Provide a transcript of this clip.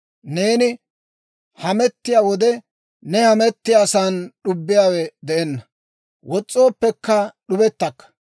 Neeni hamettiyaa wode, ne hamettiyaasan d'ubbiyaawe de'enna; wos's'ooppekka d'ubettakka.